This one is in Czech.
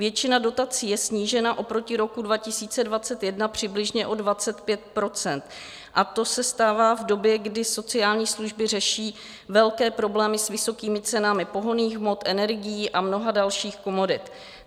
Většina dodací je snížena oproti roku 2021 přibližně o 25 % a to se stává v době, kdy sociální služby řeší velké problémy s vysokými cenami pohonných hmot, energií a mnoha dalších komodit.